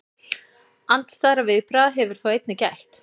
Andstæðra viðbragða hefur þó einnig gætt.